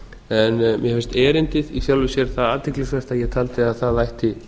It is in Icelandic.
en mér finnst erindið í sjálfu sér það athyglisvert að ég taldi að það ætti